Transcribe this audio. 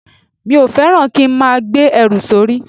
Mi ò fẹ́ràn kí n máa gbé ẹrù sórí